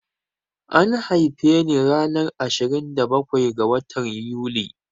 An haife ni ranar ashirin da bakwai ga watan Yuli